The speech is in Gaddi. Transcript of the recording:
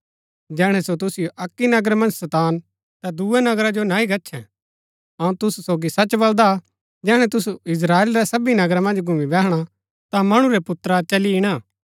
जैहणै सो तुसिओ अक्की नगर मन्ज सतान ता दूये नगरा जो नह्ही गच्छैं अऊँ तुसु सोगी सच बलदा जैहणै तुसू इस्त्राएल रै सबी नगरा मन्ज घुमी बैहणा ता मणु रै पुत्रा चली इणा